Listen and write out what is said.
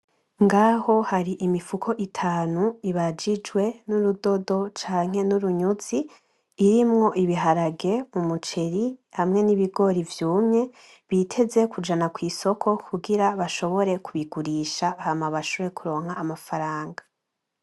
Ngaho har'imifuko itanu ibajijwe n'urudodo Canke n'urunyuzi irimwo ibiharage ,umuceri hamwe n'ibigori vyumye biteze kujana kw'isoko kugira bashobore kubigurisha hama bashobore kuronka amafaranga.